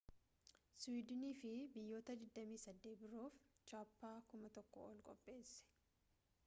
siwiidiniifi biyyoota 28 biroof chaappaa 1,000 ol qopheesse